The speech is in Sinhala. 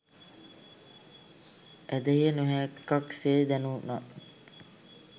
ඇදහිය නොහැක්කක් සේ දැනුනත්